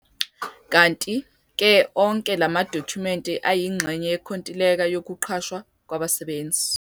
Kanti-ke onke lamadokhumenti ayingxenye yenkontileka yokuqashwa kwabasebenzi.